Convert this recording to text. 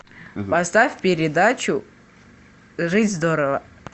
поставь передачу жить здорово